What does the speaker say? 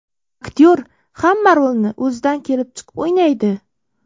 Aktyor hamma rolni o‘zidan kelib chiqib o‘ynaydi.